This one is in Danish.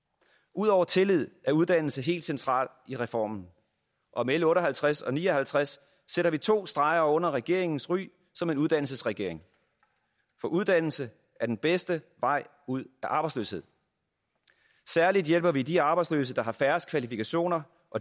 ud over tillid er uddannelse helt centralt i reformen og med l otte og halvtreds og l ni og halvtreds sætter vi to streger under regeringens ry som en uddannelsesregering for uddannelse er den bedste vej ud af arbejdsløshed særlig hjælper vi de arbejdsløse der har færrest kvalifikationer